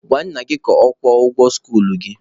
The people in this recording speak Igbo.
Gwa nna gị ka ọ kwụọ ụgwọ skuluu gị!